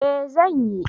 Eh zan yi